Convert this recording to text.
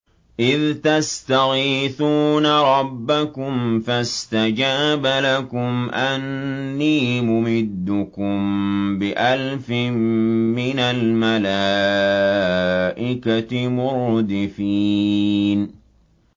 إِذْ تَسْتَغِيثُونَ رَبَّكُمْ فَاسْتَجَابَ لَكُمْ أَنِّي مُمِدُّكُم بِأَلْفٍ مِّنَ الْمَلَائِكَةِ مُرْدِفِينَ